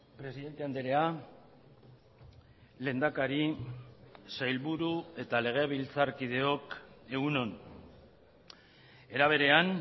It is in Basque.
presidente andrea lehendakari sailburu eta legebiltzarkideok egun on era berean